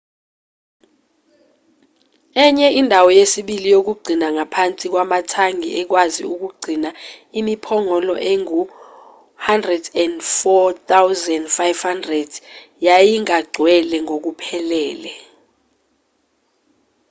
enye indawo yesibili yokugcina ngaphansi kwamathangi ekwazi ukugcina imiphongolo engu-104,500 yayingagcwele ngokuphelele